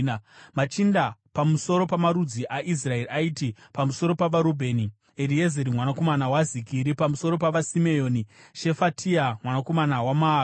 Machinda pamusoro pamarudzi aIsraeri aiti: pamusoro pavaRubheni: Eriezeri mwanakomana waZikiri; pamusoro pavaSimeoni: Shefatia mwanakomana waMaaka;